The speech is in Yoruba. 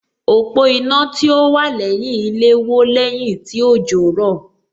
Òpó iná tí ó wà lẹ́yìn ilé wó lẹ́yìn tí òjò rọ̀